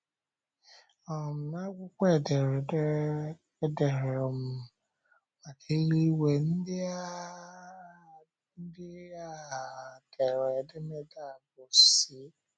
um N’akwụkwọ edere um maka eluigwe, ndị um dere edemede a bụ́ C.